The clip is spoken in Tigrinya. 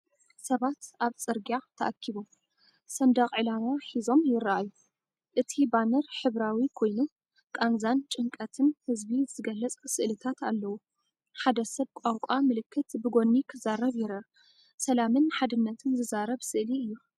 ሰባት ኣብ ጽርግያ ተኣኪቦም፡ ሰንደቕ ዕላማ ሒዞም ይረኣዩ። እቲ ባነር ሕብራዊ ኮይኑ፡ ቃንዛን ጭንቀትን ህዝቢ ዝገልጽ ስእልታት ኣለዎ። ሓደ ሰብ ቋንቋ ምልክት ብጎኒ ክዛረብ ይርአ። ሰላምን ሓድነትን ዝዛረብ ስእሊ እዩ።